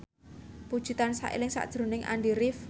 Puji tansah eling sakjroning Andy rif